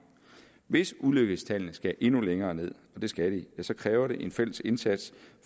hvis ulykkestallene skal endnu længere ned og det skal de ja så kræver det en fælles indsats